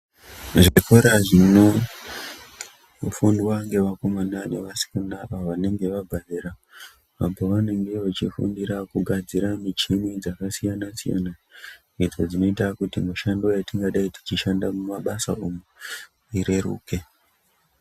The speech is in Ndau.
Zvikora zvinofundwa ngevakomana nevasikana vanenge vabva zera apovanonga vachifundira kugadzira michini dzakasiyana-siyana. Idzo dzinoita kuti mishando yatingadai tichishanda mumabasa umo ireruke.